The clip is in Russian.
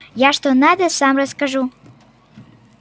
я что надо сам расскажу